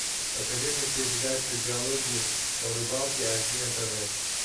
покажи мне передачу диалоги о рыбалке аш ди на тв